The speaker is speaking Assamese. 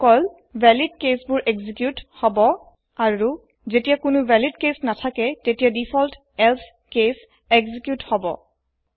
অকল ভেলিদ caseবোৰ এক্সিকিউত হব আৰু যেতিয়া কোনো ভলিদ কেচ নাথাকে তেতিয়া ডিফল্ট এলছে কেছ এক্সিকিউত হব